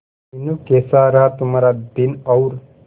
मीनू कैसा रहा तुम्हारा दिन और